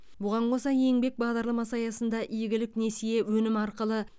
бұған қоса еңбек бағдарламасы аясында игілік несие өнімі арқылы